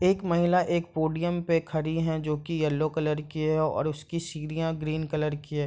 एक महिला एक पोडियम पर खड़ी है जो की येलो कलर की है और उसकी सीढ़ियाँ ग्रीन कलर की है।